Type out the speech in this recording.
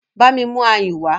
Bámi mú ayùn wá!